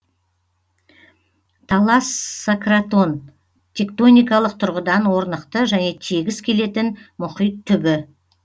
талассократон тектоникалық тұрғыдан орнықты және тегіс келетін мұхит түбі